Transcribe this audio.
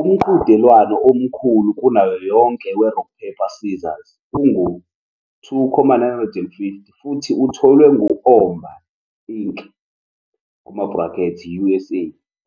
Umqhudelwano omkhulu kunayo yonke weRock Paper Scissors ungu-2,950 futhi utholwe ngu- Oomba, Inc., USA,